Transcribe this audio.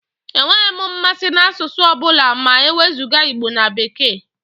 Enweghị m mmasị n'asụsụ ọ bụla ma e wezụga Igbo na Bekee.